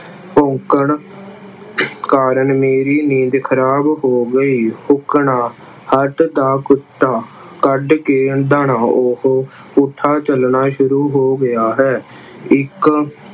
ਭੌਂਕਣ ਕਾਰਨ ਮੇਰੀ ਨੀਂਦ ਖਰਾਬ ਹੋ ਗਈ। ਹੱਡ ਦਾ ਕੁੱਤਾ ਕੱਢ ਕੇ ਉਹ ਪੁੱਠਾ ਚੱਲਣਾ ਸ਼ੁਰੂ ਹੋ ਗਿਆ ਹੈ। ਇੱਕ